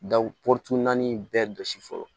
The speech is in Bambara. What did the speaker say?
porotunnan bɛɛ jɔsi fɔlɔ